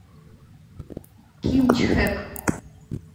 кимчхэк